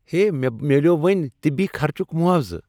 ہے مےٚ میلیوو وٕنی طبی خرچک معاوضہٕ۔